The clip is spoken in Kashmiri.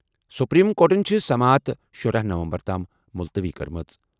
سپریم کورٹَن چھِ سماعت شُرہَ نومبر تام مُلتوی کٔرمٕژ۔